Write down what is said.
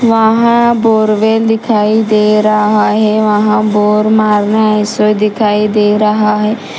वहाँ बोरवेल दिखाई दे रहा है वहां बोर मारना ऐसा दिखाई दे रहा है।